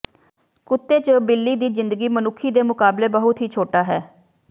ਕੁੱਤੇ ਜ ਬਿੱਲੀ ਦੀ ਜ਼ਿੰਦਗੀ ਮਨੁੱਖੀ ਦੇ ਮੁਕਾਬਲੇ ਬਹੁਤ ਹੀ ਛੋਟਾ ਹੈ